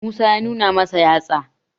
musa ya nuna masa yatsa